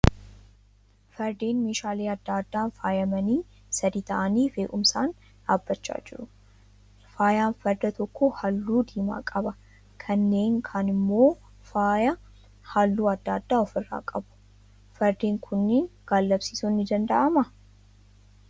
Fardeen meeshaalee adda addaan faayyamanii sadii tahanii fe'umsaan dhaabachaa jiru. Faayyaan farda tokko halluu diimaa qaba. kanneen kaan immoo faayyaa halluu adda adda ofirraa qabu. Fardeen kunniin gaallabsiisuun ni dandahamaa?